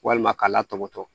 Walima k'a latɔbɔtɔ